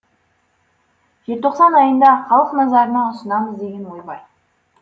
желтоқсан айында халық назарына ұсынамыз деген ой бар